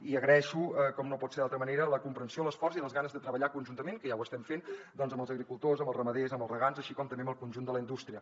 i agraeixo com no pot ser d’altra manera la comprensió l’esforç i les ganes de treballar conjuntament que ja ho estem fent doncs amb els agricultors amb els ramaders amb els regants així com també amb el conjunt de la indústria